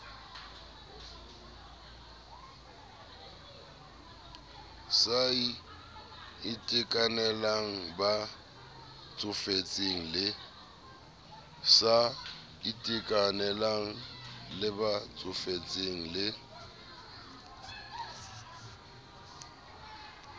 sa itekanelang ba tsofetseng le